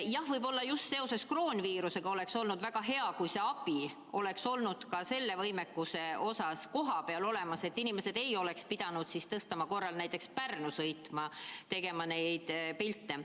Jah, võib-olla just seoses kroonviirusega oleks olnud väga hea, kui see abi oleks ka selle võimekuse osas olnud kohapeal olemas, inimesed ei oleks pidanud Tõstamaalt näiteks Pärnusse sõitma neid pilte tegema.